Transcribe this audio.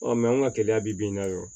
an ka kɛnɛya bi n'a yɔrɔ